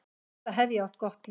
Enda hef ég átt gott líf.